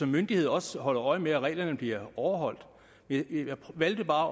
myndighederne også holder øje med at reglerne bliver overholdt jeg valgte bare